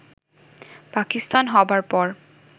পাকিস্তান হবার পর